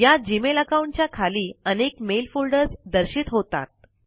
या Gmail account च्या खाली अनेक मेल फोल्डर्स दर्शित होतात